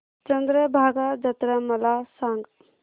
चंद्रभागा जत्रा मला सांग